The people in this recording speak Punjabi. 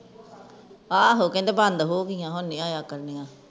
ਆਹੋ ਕਹਿੰਦੇ ਬੰਦ ਹੋ ਗਈਆਂ ਹੁਣ ਨਹੀਂ ਆਇਆ ਕਰਨਗੀਆਂ